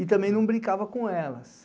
E também não brincava com elas.